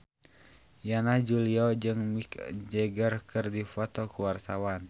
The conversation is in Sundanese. Yana Julio jeung Mick Jagger keur dipoto ku wartawan